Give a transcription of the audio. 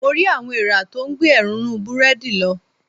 Mo rí àwọn eèrà tó ń gbé èrúnrún búrẹ́dì lọ.